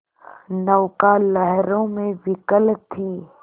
नौका लहरों में विकल थी